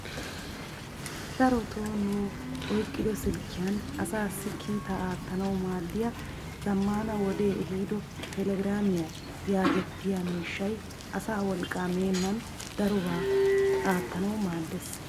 Darotoo nu oyqqido silkkiyaan asaassi kiitaa aattanwu maaddiyaa zammaana wodee ehiido telegraamiyaa yagetettiyaa miishshay asaa wolqqaa meenan darobaa oottanawu maaddes!